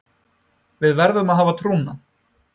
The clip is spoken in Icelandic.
Við verðum að hafa trúna